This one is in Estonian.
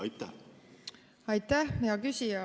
Aitäh, hea küsija!